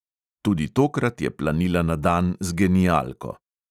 Tudi tokrat je planila na dan z genialko.